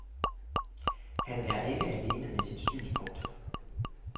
Han er ikke alene med sit synspunkt.